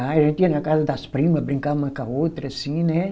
Ah, a gente ia na casa das prima, brincar uma com a outra, assim, né?